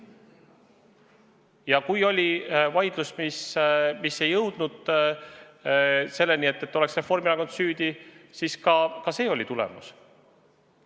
Ja kui oli vaidlus, mis ei jõudnud otsuseni, et Reformierakond on süüdi, siis ka see oli tulemus.